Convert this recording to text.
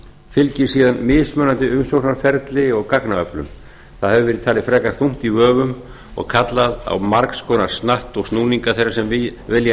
fylgir síðan mismunandi umsóknarferli og gagnaöflun það hefur verið talið frekar þungt í vöfum og kallað á margs konar snatt og snúninga þeirra sem vilja